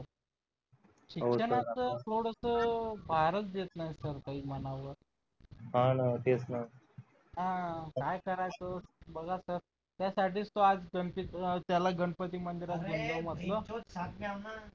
शिक्षणाचा थोडास फारच घेत नव्हतं मनावर हा ना तेच ना हा काय करायचं बघा सर त्यासाठीच तो गणपती त्याला गणपती मंदिरात घेऊन जाऊ म्हटलं